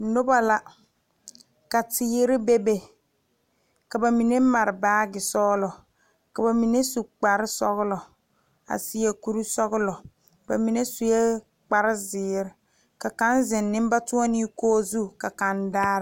Noba la ka teere bebe ka ba mine mare naatesɔglɔ ka ba mine su kparesɔglɔ a seɛ kurisɔglɔ ba mine sue kparezeere ka kaŋ zeŋ nenbatoɔnee kogi zu ka kaŋ daara.